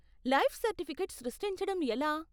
Life certificate సృష్టించటం ఎలా ?